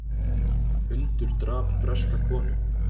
Hundur drap breska konu